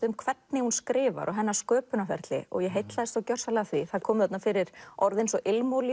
um hvernig hún skrifar og hennar sköpunarferli og ég heillaðist gjörsamlega af því það komu þarna fyrir orð eins og